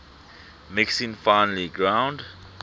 mixing finely ground